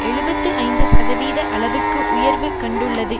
எழுபத்து ஐந்து சதவீத அளவுக்கு உயர்வு கண்டுள்ளது